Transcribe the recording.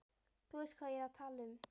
Þú veist hvað ég er að tala um.